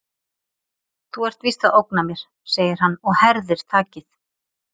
Þú ert víst að ógna mér, segir hann og herðir takið.